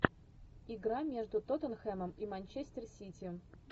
игра между тоттенхэмом и манчестер сити